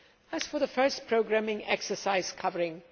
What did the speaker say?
as for the first programming exercise covering